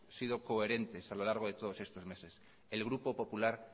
sido coherentes a lo largo de todos estos meses el grupo popular